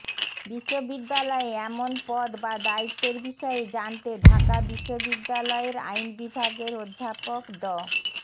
বিশ্ববিদ্যালয়ে এমন পদ বা দায়িত্বের বিষয়ে জানতে ঢাকা বিশ্ববিদ্যালয়ের আইন বিভাগের অধ্যাপক ড